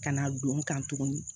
Ka na don n kan tuguni